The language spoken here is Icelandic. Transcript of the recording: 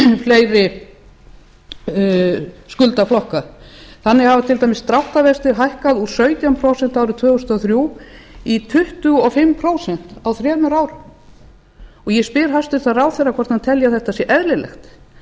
fleiri skuldaflokka þannig hafa til dæmis dráttarvextir hækkað úr sautján prósent n árið tvö þúsund og þrjú í tuttugu og fimm prósent á þremur árum ég spyr hæstvirtur ráðherra hvort hann tala að þetta sé eðlilegt